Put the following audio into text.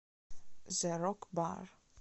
зэ рок бар